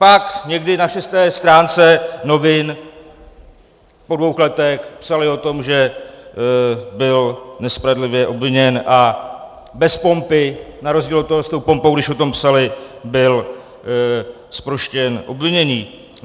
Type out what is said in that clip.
Pak někdy na šesté stránce novin po dvou letech psali o tom, že byl nespravedlivě obviněn, a bez pompy, na rozdíl od toho s tou pompou, když o tom psali, byl zproštěn obvinění.